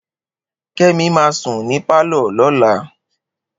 Kemi ma sùn ní pálọ̀ lọ́la